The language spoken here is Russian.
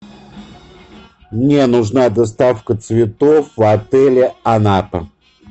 мне нужна доставка цветов в отеле анапа